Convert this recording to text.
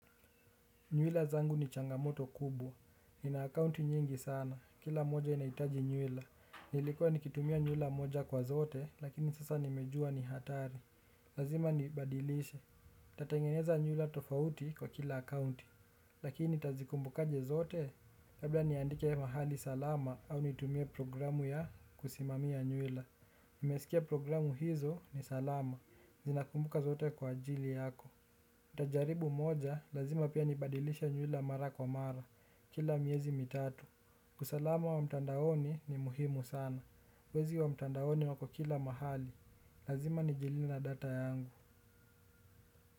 Nywila zangu ni changamoto kubwa. Ninaakaunti nyingi sana. Kila moja inaitaji nywila. Nilikuwa nikitumia nywila moja kwa zote, lakini sasa nimejua ni hatari. Lazima nibadilishe. Tatangeneza nywila tofauti kwa kila akaunti. Lakini tazikumbukaje zote? Labda niandike mahali salama au nitumie programu ya kusimamia nywila. Nimesikia programu hizo ni salama. Zinakumbuka zote kwa ajili yako. Nitajaribu moja, lazima pia nibadilisha njula mara kwa mara, kila miezi mitatu usalama wa mtandaoni ni muhimu sana, wezi wa mtandaoni wako kila mahali, lazima nigilina data yangu.